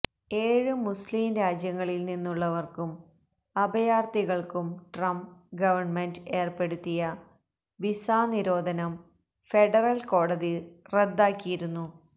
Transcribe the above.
ഏഴ് മുസ്ലീം രാജ്യങ്ങളില് നിന്നുള്ളവര്ക്കും അഭയാര്ത്ഥികള്ക്കും ട്രംപ് ഗവണ്മെന്റ് ഏര്പ്പെടുത്തിയ വിസാനിരോധനം ഫെഡറല് കോടതി റ്ദ്ദാക്കിയിരുന്നു